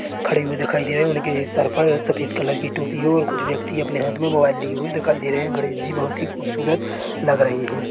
खड़े हुए दिखाई दे रहे है उनके सर पर सफ़ेद कलर की टोपी है और कुछ व्यक्ति अपने हाथ में मोबाइल लिए हुए दिखाई दे रहे है गणेश जी बहुत ही खूबसूरत लग रहे हैं।